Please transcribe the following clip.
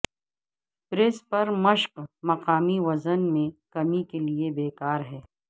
press پر مشق مقامی وزن میں کمی کے لئے بیکار ہیں